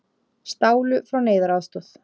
Stálu frá neyðaraðstoð